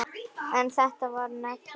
En þetta var negla.